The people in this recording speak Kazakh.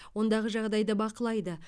ондағы жағдайды бақылайды